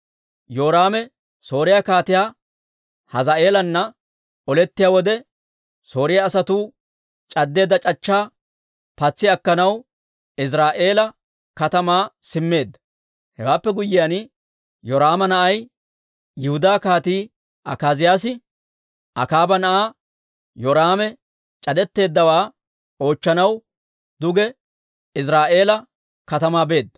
Yoraame Sooriyaa Kaatiyaa Hazaa'eelana olettiyaa wode, Sooriyaa asatuu c'addeedda c'achchaa patsi akkanaw Iziraa'eela katamaa simmeedda. Hewaappe guyyiyaan, Yoraama na'ay, Yihudaa Kaatii Akaaziyaasi Akaaba na'aa Yoraame c'adetteeddawaa oochchanaw duge Iziraa'eela katamaa beedda.